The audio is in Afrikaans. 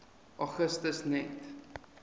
augustus net